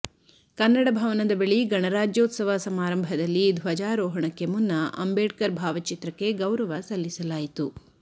ಕನ್ನಡ ಭವನದ ಬಳಿ ಗಣರಾಜ್ಯೋತ್ಸವ ಸಮಾರಂಭದಲ್ಲಿ ಧ್ವಜಾರೋಹಣಕ್ಕೆ ಮುನ್ನ ಅಂಬೇಡ್ಕರ್ ಭಾವಚಿತ್ರಕ್ಕೆ ಗೌರವ ಸಲ್ಲಿಸಲಾಯಿತು